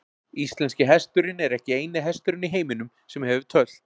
Íslenski hesturinn er ekki eini hesturinn í heiminum sem hefur tölt.